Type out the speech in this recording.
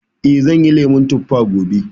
Eh, zan yi lemun tuffa gobe